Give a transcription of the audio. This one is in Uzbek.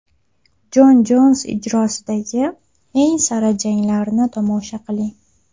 Jon Jons ijrosidagi eng sara janglarni tomosha qiling!